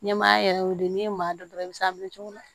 Ɲɛmaa yɛrɛ y'o ye n'i ye maa dɔn i bɛ s'a minɛ cogo di